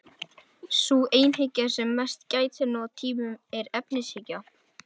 Sú einhyggja sem mest gætir nú á tímum er efnishyggja.